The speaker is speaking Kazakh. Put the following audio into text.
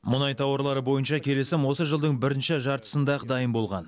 мұнай тауарлары бойынша келісім осы жылдың бірінші жартысында ақ дайын болған